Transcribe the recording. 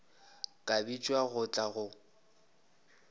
ka bitšwa go tla go